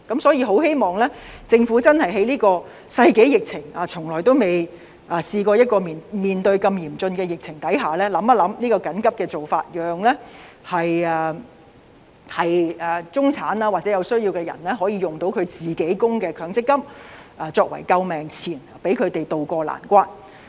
所以，在這個世紀疫情下——我們從未試過面對如此嚴峻的疫情下——我希望政府考慮這個緊急的做法，讓中產或有需要人士可以使用自己的強積金供款作為救命錢，讓他們渡過難關。